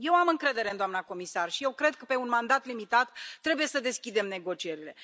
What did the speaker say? Eu am încredere în doamna comisar și eu cred că, pe un mandat limitat, trebuie să deschidem negocierile.